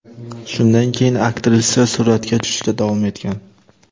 Shundan keyin aktrisa suratga tushishda davom etgan.